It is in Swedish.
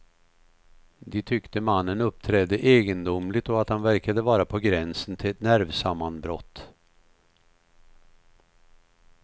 De tyckte mannen uppträdde egendomligt och att han verkade vara på gränsen till ett nervsammanbrott.